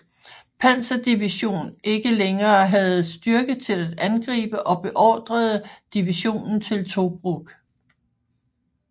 Panzerdivision ikke længere havde styrke til at angribe og beordrede divisionen til Tobruk